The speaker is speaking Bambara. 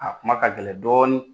A kuma ka gɛlɛn dɔɔnin.